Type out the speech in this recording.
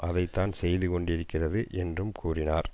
அதை தான் செய்து கொண்டிருக்கிறது என்றும் கூறினார்